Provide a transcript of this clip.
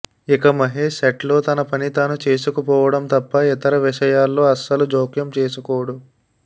ఇక మహేష్ సెట్లో తన పని తాను చేసుకుపోవడం తప్ప ఇతర విషయాల్లో అస్సలు జోక్యం చేసుకోడు